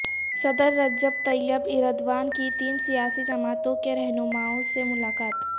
صدر Recep Tayyip Erdogan کی تین سیاسی جماعتوں کے رہنماوں سے ملاقات